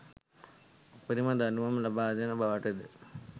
උපරිම දඬුවම් ලබාදෙන බවට ද